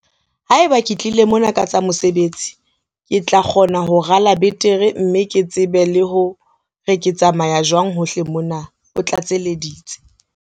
"Haeba ke tlile mona ka tsa mosebetsi, ke tla kgona ho rala betere mme ke tsebe le hore ke tsamaya jwang hohle mona," o tlatseleditse.